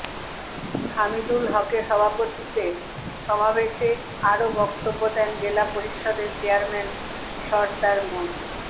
হামিদুল হকের সভাপতিত্বে সমাবেশে আরো বক্তব্য দেন জেলা পরিষদের চেয়ারম্যান সরদার মো